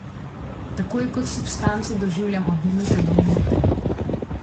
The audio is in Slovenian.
Tako jo kot substanco doživljam od minute do minute.